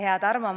Hea Tarmo!